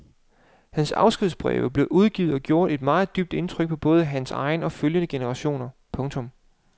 Hans afskedsbreve blev udgivet og gjorde et meget dybt indtryk på både hans egen og følgende generationer. punktum